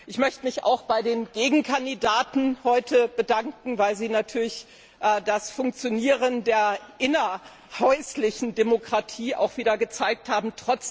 Ich möchte mich auch bei den Gegenkandidaten heute bedanken, weil sie natürlich das Funktionieren der innerhäuslichen Demokratie wieder gezeigt haben.